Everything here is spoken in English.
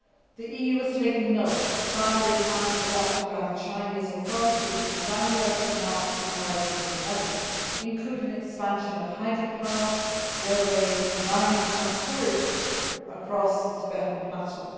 The EU has taken note that the five year plans adopted by the Chinese authorities in January and March 2011 include an expansion of hydropower, railways, mining and tourism across the Tibetan plateau.